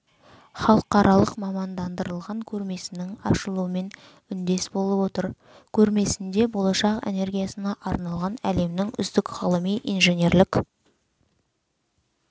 халықаралық мамандандырылған көрмесінің ашылуымен үндес болып отыр көрмесінде болашақ энергиясына арналған әлемнің үздік ғылыми инженерлік